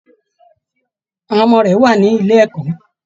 Àwọn ọmọ rẹ wà nílé ẹ̀kọ́